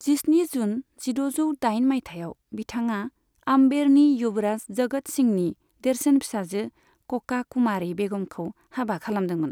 जिस्नि जुन जिद'जौ दाइन माइथायाव, बिथाङा आम्बेरनि युबराज जगत सिंहनि देरसिन फिसाजो कका कुमारी बेगमखौ हाबा खालामदोंमोन।